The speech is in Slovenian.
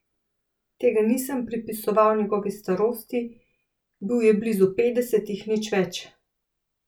Tega nisem pripisoval njegovi starosti, bil je blizu petdesetih, nič več.